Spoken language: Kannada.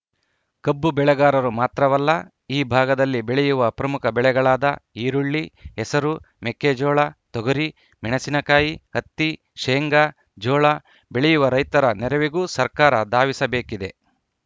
ಕಬ್ಬು ಬೆಳೆಗಾರರು ಮಾತ್ರವಲ್ಲ ಈ ಭಾಗದಲ್ಲಿ ಬೆಳೆಯುವ ಪ್ರಮುಖ ಬೆಳೆಗಳಾದ ಈರುಳ್ಳಿ ಹೆಸರು ಮೆಕ್ಕೆಜೋಳ ತೊಗರಿ ಮೆಣಸಿನಕಾಯಿ ಹತ್ತಿ ಶೇಂಗಾ ಜೋಳ ಬೆಳೆಯುವ ರೈತರ ನೆರವಿಗೂ ಸರ್ಕಾರ ಧಾವಿಸಬೇಕಿದೆ